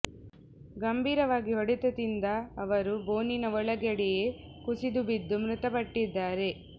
ಗಂಭೀರವಾಗಿ ಹೊಡೆತ ತಿಂದ ಅವರು ಬೋನಿನ ಒಳಗಡೆಯೇ ಕುಸಿದು ಬಿದ್ದು ಮೃತಪಟ್ಟಿದ್ದಾರೆ